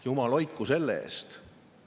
Jumal hoidku selle eest!